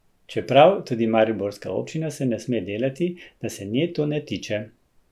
Čeprav, tudi mariborska občina se ne sme delati, da se nje to ne tiče.